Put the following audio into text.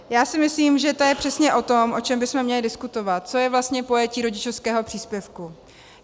Já si myslím, že to je přesně o tom, o čem bychom měli diskutovat, co je vlastně pojetí rodičovského příspěvku.